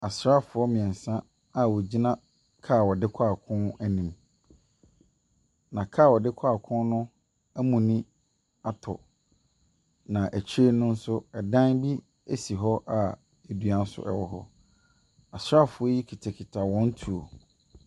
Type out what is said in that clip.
Asrfoɔ mmiɛnsa a wɔgyina car wɔdekɔ akoo anim. Na car wɔde kɔ akoo no amuni atɔ na akyire no nso ɛdan bi esi hɔ a edua ɛnso ɛwɔ hɔ. Asrafoɔ yi kutakuta wɔn tuo.